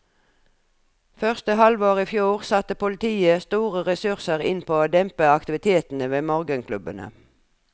Første halvår i fjor satte politiet store ressurser inn på å dempe aktivitetene ved morgenklubbene.